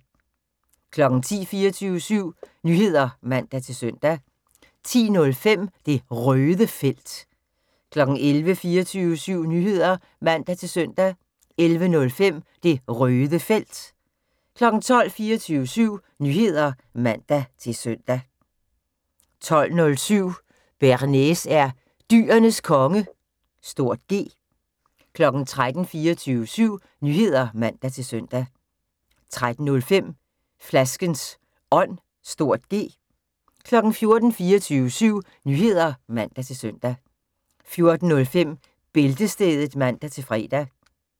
10:00: 24syv Nyheder (man-søn) 10:05: Det Røde Felt 11:00: 24syv Nyheder (man-søn) 11:05: Det Røde Felt 12:00: 24syv Nyheder (man-søn) 12:07: Bearnaise er Dyrenes Konge (G) 13:00: 24syv Nyheder (man-søn) 13:05: Flaskens Ånd (G) 14:00: 24syv Nyheder (man-søn) 14:05: Bæltestedet (man-fre)